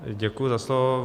Děkuji za slovo.